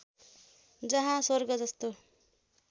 जहाँ स्वर्ग जस्तो